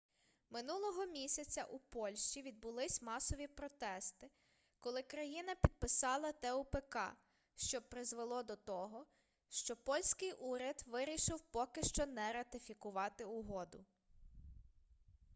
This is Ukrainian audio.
минулого місяця у польщі відбулись масові протести коли країна підписала тупк що призвело до того що польський уряд вирішив поки що не ратифікувати угоду